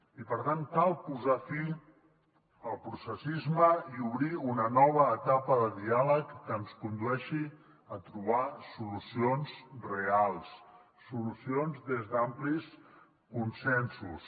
i per tant cal posar fi al processisme i obrir una nova etapa de diàleg que ens condueixi a trobar solucions reals solucions des d’amplis consensos